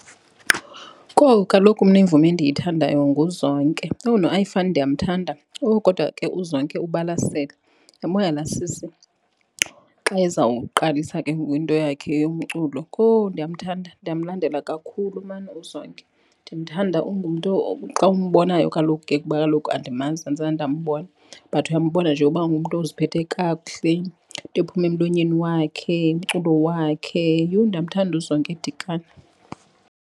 Kowu kaloku mna imvumi endiyithandayo nguZonke. Yho, noAyifani ndiyamthanda. Owu kodwa ke uZonke ubalasele. Yambona laa sisi xa ezawuqalisa ke ngoku into yakhe yomculo, kowu, ndiyamthanda ndiyamlandela kakhulu maan uZonke. Ndimthanda, ungumntu xa umbonayo kaloku ke kuba kaloku andimazi andizange ndambona but uyambona nje uba ungumntu oziphethe kakuhle, into ephuma emlonyeni wakhe, umculo wakhe. Yho, ndiyamthanda uZonke Dikana.